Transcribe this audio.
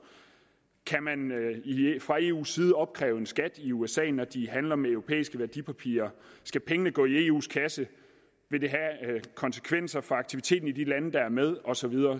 kan man fra eus side opkræve en skat i usa når de handler med europæiske værdipapirer skal pengene gå i eus kasse vil det have konsekvenser for aktiviteten i de lande der er med og så videre